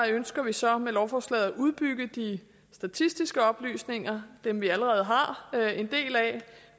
ønsker vi så med lovforslaget at udbygge de statistiske oplysninger dem vi allerede har en del af